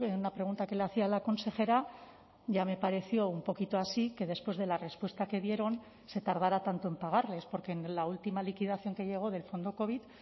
una pregunta que le hacía a la consejera ya me pareció un poquito así que después de la respuesta que dieron se tardará tanto en pagarles porque en la última liquidación que llegó del fondo covid